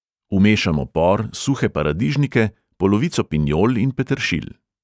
Vmešamo por, suhe paradižnike, polovico pinjol in peteršilj.